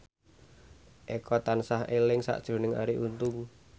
Eko tansah eling sakjroning Arie Untung